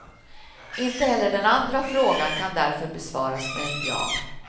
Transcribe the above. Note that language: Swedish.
Inte heller den andra frågan kan därför besvaras med ett ja.